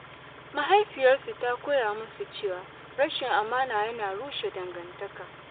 Mahaifiyarsu ta koya musu cewa rashin amana yana rushe dangantaka.